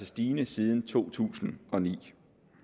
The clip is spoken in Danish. stigende siden to tusind og ni